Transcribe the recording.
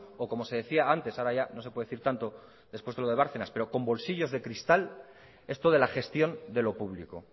o como se decía antes ahora ya no se puede decir tanto después de lo de bárcenas pero son bolsillos de cristal esto de la gestión de lo público